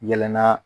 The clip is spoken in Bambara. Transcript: Yɛlɛnna